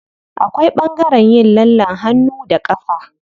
Akwai ɓangaren yin lallen hannu da ƙafa.